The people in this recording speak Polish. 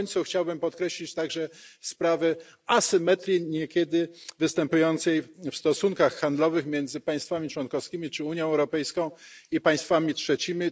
Na końcu chciałbym podkreślić także sprawę asymetrii występującej niekiedy w stosunkach handlowych między państwami członkowskimi czy Unią Europejską i państwami trzecimi.